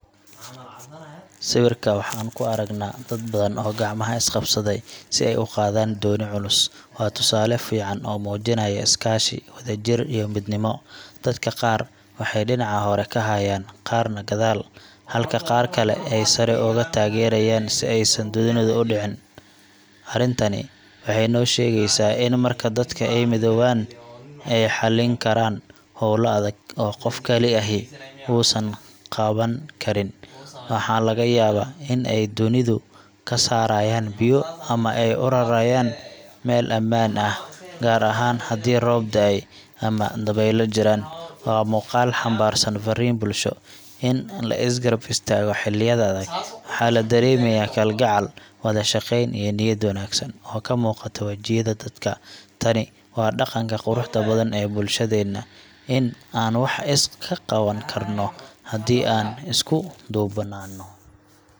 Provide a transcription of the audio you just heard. Sawirka waxaan ku aragnaa dad badan oo gacmaha is qabsaday si ay u qaadaan dooni culus. Waa tusaale fiican oo muujinaya iskaashi, wadajir, iyo midnimo. Dadka qaar waxay dhinaca hore ka hayaaan, qaarna gadaal, halka qaar kale ay sare uga taageerayaan si aysan doonidu u dhicin. Arrintani waxay noo sheegaysaa in marka dadka ay midoobaan, ay xallin karaan hawlo adag oo qof kali ahi uusan qaban karin. Waxaa laga yaabaa in ay doonida ka saarayaan biyo ama ay u rarayaan meel ammaan ah, gaar ahaan haddii roob da’ay ama dabaylo jiraan. Waa muuqaal xambaarsan farriin bulsho – in la is garab istaago xilliyada adag. Waxaa la dareemayaa kalgacal, wada shaqayn, iyo niyad wanaagsan oo ka muuqata wejiyada dadka. Tani waa dhaqanka quruxda badan ee bulshadeenna – in aan wax is ka qaban karno haddii aan isku duubnaano.